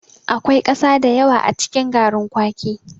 Akwai ƙasa da yawa a cikin garrin kwaki.